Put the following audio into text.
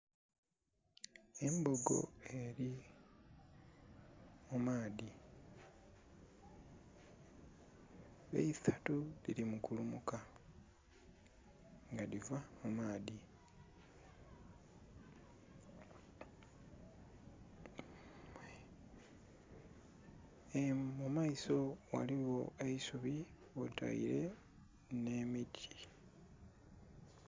Embogo eri mumaadhi, eisatu dhili mu kulumuka nga dhiva mumaadhi, mumaiso ghaligho eisubi kwotaire nhe miti.